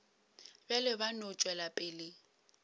bjalo ba no tšwela pele